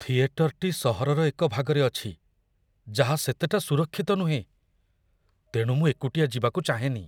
ଥିଏଟରଟି ସହରର ଏକ ଭାଗରେ ଅଛି ଯାହା ସେତେଟା ସୁରକ୍ଷିତ ନୁହେଁ, ତେଣୁ ମୁଁ ଏକୁଟିଆ ଯିବାକୁ ଚାହେଁନି।